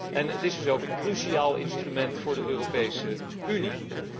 En het is dan ook een cruciaal instrument voor de Europese Unie.